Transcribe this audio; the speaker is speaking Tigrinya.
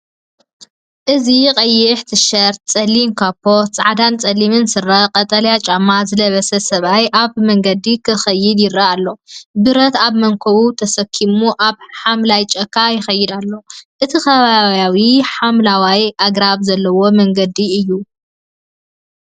እዚ ቀይሕ ቲሸርት፡ ጸሊም ካቦት፡ ጻዕዳን ጸሊምን ስረ፡ ቀጠልያ ጫማ ዝለበሰ ሰብኣይ ኣብ መንገዲ ክከይድ ይረአ ኣሎ። ብረት ኣብ መንኵቡ ተሰኪሙ ኣብ ሓምላይ ጫካ ይኸይድ ኣሎ። እቲ ከባቢ ሓምለዋይ ኣግራብ ዘለዎ መንገዲ እዩ።